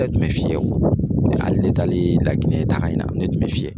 tun bɛ fiyɛ o, hali de taalen Laginɛ taaga in na ne tun bɛ fiyɛ.